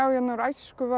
úr æsku var